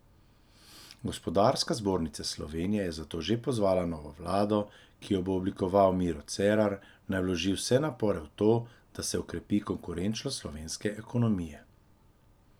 Gospodarska zbornica Slovenije je zato že pozvala novo vlado, ki jo bo oblikoval Miro Cerar, naj vloži vse napore v to, da se okrepi konkurenčnost slovenske ekonomije.